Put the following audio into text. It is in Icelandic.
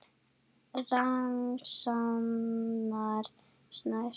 Ragnar Snær.